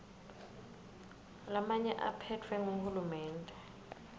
lamanye aphetfwe nguhulumende